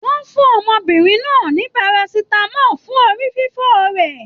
Wọn fún ọmọbìnrin náà ní Parasitamọ fún orí fífọ rẹ.